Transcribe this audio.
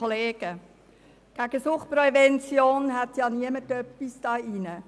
Gegen Suchtprävention hat in diesem Saal niemand etwas einzuwenden.